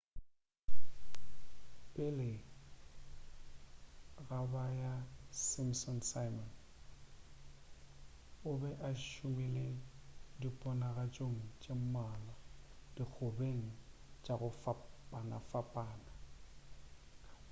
pele ga ba ga simpsons simon o be a šomile diponagatšong tše mmalwa dikgobeng tša go fapanafapana